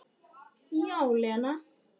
Já, Lena.